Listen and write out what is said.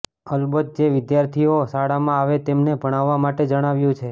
અલબત્ત જે વિધાર્થીઓ શાળામાં આવે તેમને ભણાવવા માટે જણાવ્યુ છે